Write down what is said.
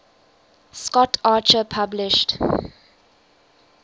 scott archer published